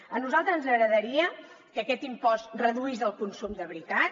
a nosaltres ens agradaria que aquest impost reduís el consum de veritat